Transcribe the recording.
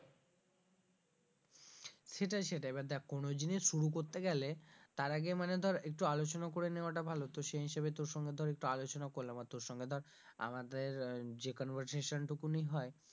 সেটাই সেটাই এবার দেখ কোন জিনিস শুরু করতে গেলে তার আগে মানে ধর একটু আলোচনা করে নেওয়াটা ভালো তো সেই হিসেবে তোর সঙ্গে ধর একটু আলোচনা করলাম আর তোর সঙ্গে ধর আমাদের যে conversation টুকুনই হয়,